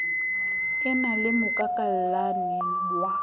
e na le mokakallane wa